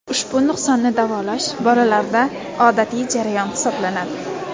Ushbu nuqsonni davolash bolalarda odatiy jarayon hisoblanadi.